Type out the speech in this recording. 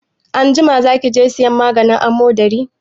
Anjima za ki je sayan maganin amodari?